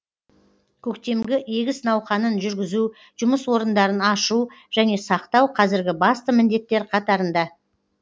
көктемгі егіс науқанын жүргізу жұмыс орындарын ашу және сақтау қазіргі басты міндеттер қатарында